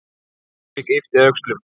Friðrik yppti öxlum.